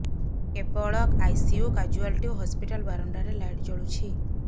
କେବଳ ICU casualty ଓ hospital ବାରଣ୍ଡାରେ ଲାଇଟ୍ ଜଳୁଛି